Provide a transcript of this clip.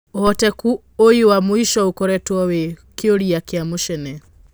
ũhoteku ũyũwa mũico ũkoretwo wĩ kĩũrĩa kĩa mũcene.